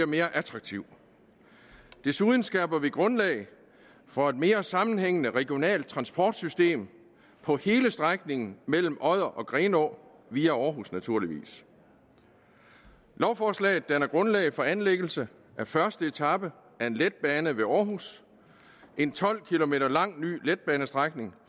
mere attraktiv desuden skaber vi grundlag for et mere sammenhængende regionalt transportsystem på hele strækningen mellem odder og grenaa via aarhus naturligvis lovforslaget danner grundlag for anlæggelse af første etape af en letbane ved aarhus en tolv km lang ny letbanestrækning